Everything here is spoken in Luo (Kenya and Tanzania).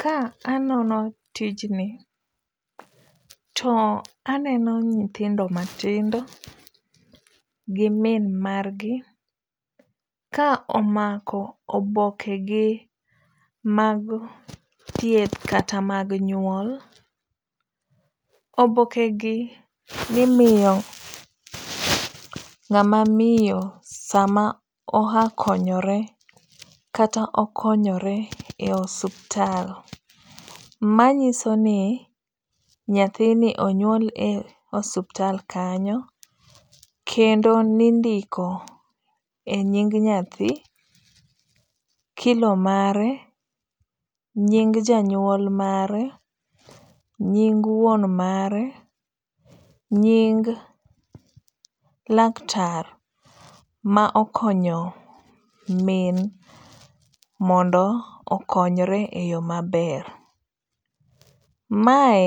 Ka anono tijni to aneno nyithindo matindao gi min margi ka omako obokegi mag thieth kata mag nyuol, obokegi nimiyo ng'ama miyo sama oya konyore kata okonyore e osuptal, manyisoni nyathini onywol e osuptal kanyo kendo ninindo e nying' nyathi, kilo mare, nyig janyuol mare, nyig wuon mare, nyig laktar ma okonyo min mondo okonyre e yo maber, mae